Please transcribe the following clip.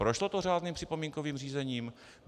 Prošlo to řádným připomínkovým řízením?